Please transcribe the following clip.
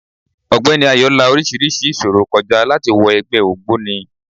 Ógbeni Ayo la orísirísi ìṣòro kọ já láti wọ ẹgbẹ́ ògbóni.